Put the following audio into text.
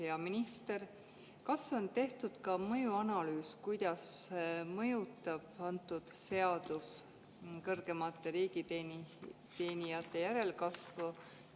Hea minister, kas on tehtud ka mõjuanalüüs, kuidas mõjutab antud seadus kõrgemate riigiteenijate järelkasvu?